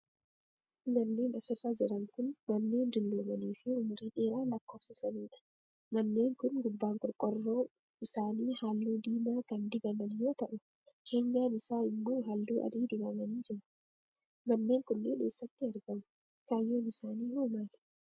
Manneen as irra jiran kun, manneen dulloomanii fi umurii dheeraa lakkoofsisanii dha. Manneen kun, gubbaan qorqoorroo isaanii haalluu diimaa kan dibamn yoo ta'u, keenyaan isaa immoo haalluu adii dibamanii jiru. Manneen kunneen eessatti argamu? Kaayyoon isaanii hoo maali?